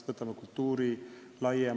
Võtame kultuuri laiemalt.